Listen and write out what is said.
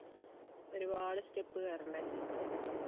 ഒരുപാട് step കേറണ്ടേ